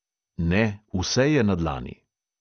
Ne, vse je na dlani.